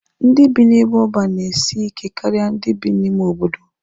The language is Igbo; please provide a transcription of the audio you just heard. Ndị bi n'ebe ọban na-esi ike karịa ndị bi n'ime obodo.